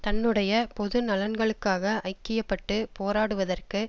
தன்னுடைய பொது நலன்களுக்காக ஐக்கிய பட்டு போராடுவதற்கு